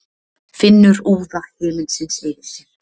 Finnur úða himinsins yfir sér.